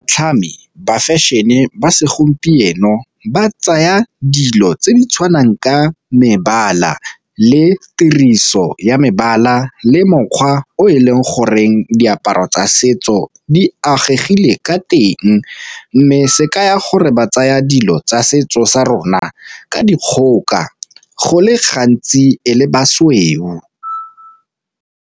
ba fashion-e ba segompieno ba tsaya dilo tse di tshwanang ka mebala le tiriso ya mebala le mokgwa o e leng goreng diaparo tsa setso di agegileng ka teng. Mme se ka ya gore ba tsaya dilo tsa setso sa rona ka dikgoka go le gantsi e le ba sweu.